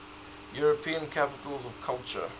european capitals of culture